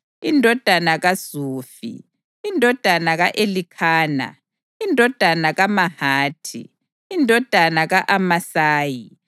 indodana kaZufi, indodana ka-Elikhana, indodana kaMahathi, indodana ka-Amasayi,